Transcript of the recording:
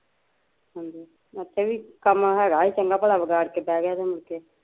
ਹੰਜੀ ਇੱਥੇ ਵੀ ਕੰਮ ਹੈਗਾ ਸੀ ਚੰਗਾ ਭਲਾ ਵਿਗਾੜ ਕੇ ਬਹਿ ਗਿਆ ਤੇ ਮੁੜਕੇ